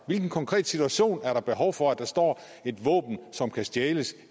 hvilken konkret situation er der behov for at der står et våben som kan stjæles